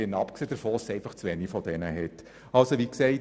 Abgesehen davon hat es auch zu wenige solche Lektionen.